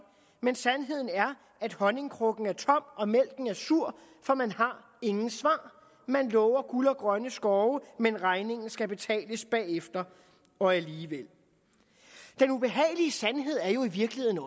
men sandheden er at honningkrukken er tom og mælken er sur for man har ingen svar man lover guld og grønne skove men regningen skal betales bagefter og alligevel den ubehagelige sandhed er jo i virkeligheden